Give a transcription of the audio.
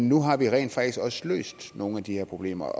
nu har vi rent faktisk også løst nogle af de her problemer